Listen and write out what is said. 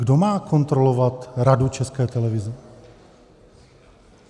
Kdo má kontrolovat Radu České televize?